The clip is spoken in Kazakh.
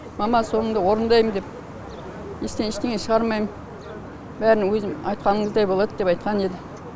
мама соныңды орындаймын деп естен ештеңе шығармаймын бәрі өзің айтқаныңыздай болады деп айтқан еді